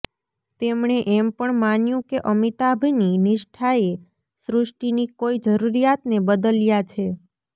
તેમણે એમ પણ માન્યું કે અમિતાભની નિષ્ઠાએ સૃષ્ટિની કોઈ જરૂરિયાતને બદલ્યા છે